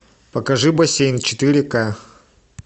покажи бассейн четыре ка